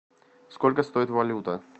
сколько стоит валюта